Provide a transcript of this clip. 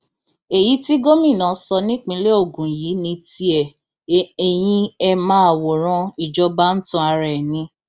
èyí tí gómìnà sọ nípìnlẹ ogun yìí ní tiẹ eyín ẹ máa wòran ìjọba ń tan ara ẹ ni